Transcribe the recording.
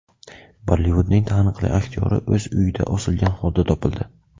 Bollivudning taniqli aktyori o‘z uyida osilgan holda topildi.